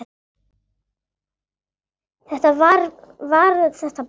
Svona var þetta bara.